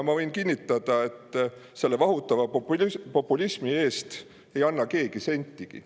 Ma võin kinnitada, et selle vahutava populismi eest ei anna keegi sentigi.